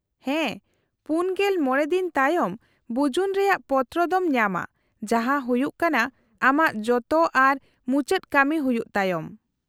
-ᱦᱮᱸ, ᱔᱕ ᱫᱤᱱ ᱛᱟᱭᱚᱢ ᱵᱩᱡᱩᱱ ᱨᱮᱭᱟᱜ ᱯᱚᱛᱨᱚ ᱫᱚᱢ ᱧᱟᱢᱟ, ᱡᱟᱦᱟᱸ ᱦᱩᱭᱩᱜ ᱠᱟᱱᱟ ᱟᱢᱟᱜ ᱡᱚᱛᱚ ᱟᱨ ᱢᱩᱪᱟᱹᱫ ᱠᱟᱹᱢᱤ ᱦᱩᱭᱩᱜ ᱛᱟᱭᱚᱢ ᱾